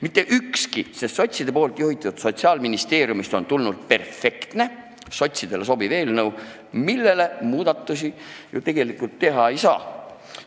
Mitte ükski, sest sotside juhitud Sotsiaalministeeriumist on tulnud sotsidele perfektselt sobiv eelnõu, mille muudatusi tegelikult teha ei saa.